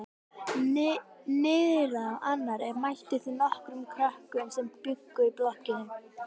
Niðrá annarri mættu þeir nokkrum krökkum sem bjuggu í blokkinni.